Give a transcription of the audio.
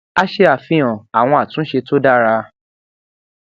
a ṣe àfihàn àwọn àtúnṣe tó dára